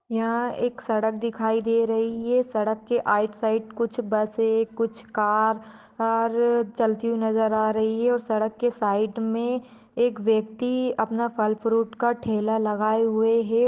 यहाँ एक सड़क दिखाई दे रही है सड़क के साइड कुछ बसें कुछ कार चलती हुई नज़र आ रही है और सड़क के साइड में एक व्यक्ति अपना फल फ्रूट का ठेला लगाए हुए है।